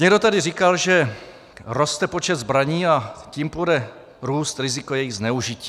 Někdo tady říkal, že roste počet zbraní, a tím bude růst riziko jejich zneužití.